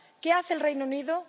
¿qué hace el Reino Unido?,